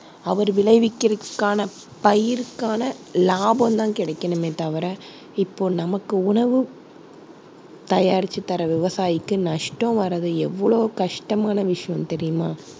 அவர் விளைவிக்கிறதுக்கான பயிருக்கான லாபம் தான் கிடைக்கணுமே தவிர இப்போ நமக்கு உணவு தயாரிச்சு தர்ற விவசாயிக்கு நஷ்டம் வர்றது எவ்ளோ கஷ்டமான விஷயம் தெரியுமா?